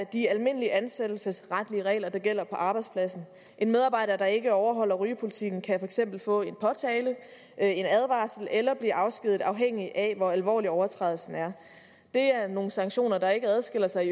de almindelige ansættelsesretlige regler der gælder på arbejdspladsen en medarbejder der ikke overholder rygepolitikken kan for eksempel få en påtale en advarsel eller blive afskediget afhængigt af hvor alvorlig overtrædelsen er det er nogle sanktioner der ikke adskiller sig